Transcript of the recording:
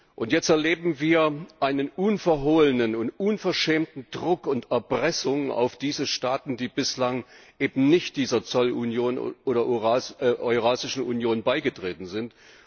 Und jetzt erleben wir einen unverhohlenen und unverschämten Druck und Erpressung gegenüber diesen Staaten, die bislang eben nicht dieser Zollunion oder Eurasischen Union beigetreten sind.